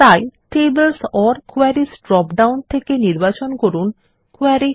তাই tables or queries dropdown থেকে নির্বাচন করুন Query